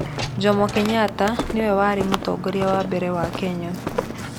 Jomo Kenyatta nĩwe warĩ mũtongoria wa mbere wa Kenya.